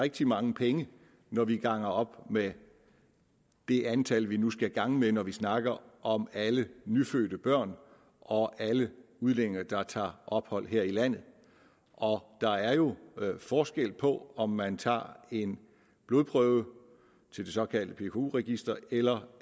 rigtig mange penge når vi ganger op med det antal vi nu skal gange med når vi snakker om alle nyfødte børn og alle udlændinge der tager ophold her i landet der er jo forskel på om man tager en blodprøve til det såkaldte pku register eller